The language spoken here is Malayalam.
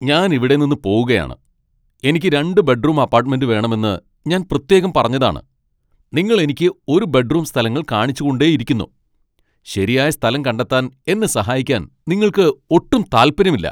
ഞാൻ ഇവിടെ നിന്ന്പോകുകയാണ് . എനിക്ക് രണ്ട് ബെഡ്റൂം അപ്പാട്ട്മെന്റ് വേണമെന്ന് ഞാൻ പ്രത്യേകം പറഞ്ഞതാണ് , നിങ്ങൾ എനിക്ക് ഒരു ബെഡ്റൂം സ്ഥലങ്ങൾ കാണിച്ച് കൊണ്ടേയിരിക്കുന്നു . ശരിയായ സ്ഥലം കണ്ടെത്താൻ എന്നെ സഹായിക്കാൻ നിങ്ങൾക്ക് ഒട്ടും താൽപ്പര്യമില്ല.